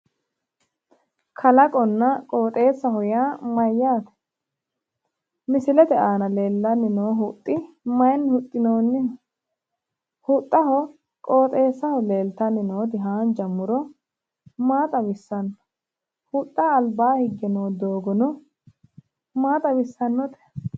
Kalaqonna qooxeessaho yaa mayyaate? Misilete aana leellanni noo huxxi mayinni huxxinoonniho? Huxxaho qooxeessaho leeltanni nooti haanja muro maa xawissanno? Huxxaho albaa higge noo doogono maa xawissannote?